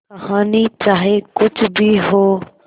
कहानी चाहे कुछ भी हो